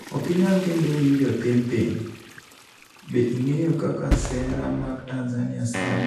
Okinyal kendo winjo thin thin : Be ing'eyo kaka sera mag Tanzania sandi?